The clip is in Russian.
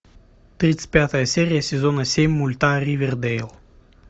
тридцать пятая серия сезона семь мульта ривердейл